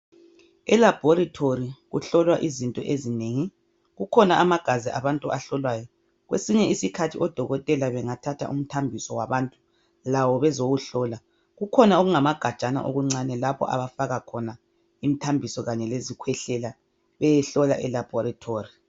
Elabhorithori kuhlolwa izinto ezinengi kukhona amagazi abantu ahlolwayo kwesinye isikhathi odokotela bengathatha umthambiso wabantu lawo bezowuhlola. Kukhona okungamagajana okuncane lapha abafaka khona imthambiso kanye lezikhwehlela beyohlola elabhorithori.